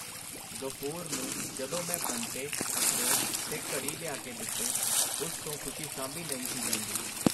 ਗ਼ਫੂਰ ਨੂੰ ਜਦੋਂ ਮੈਂ ਬੰਟੇ, ਅਖਰੋਟ ਤੇ ਘੜੀ ਲਿਆ ਕੇ ਦਿੱਤੇ ਉਸ ਤੋਂ ਖ਼ੁਸ਼ੀ ਸਾਂਭੀ ਨਹੀਂ ਸੀ ਜਾਂਦੀ.